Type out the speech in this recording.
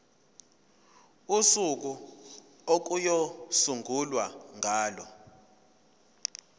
usuku okuyosungulwa ngalo